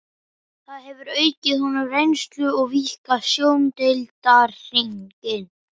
Það hefur aukið honum reynslu og víkkað sjóndeildarhringinn.